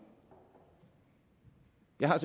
jeg har